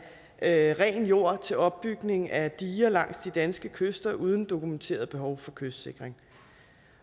af ren jord til opbygning af diger langs de danske kyster uden dokumenteret behov for kystsikring